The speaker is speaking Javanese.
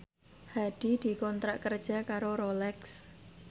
Hadi dikontrak kerja karo Rolex